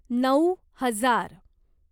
नऊ हजार